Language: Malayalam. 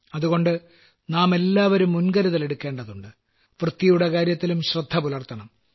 അതുകൊണ്ട് നാമെല്ലാവരും മുൻകരുതൽ എടുക്കേണ്ടതുണ്ട് വൃത്തിയുടെ കാര്യത്തിലും ശ്രദ്ധപുലർത്തണം